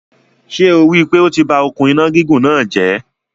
Ṣé o rí pé o ti ba òkun iná gígùn náà jẹ̀?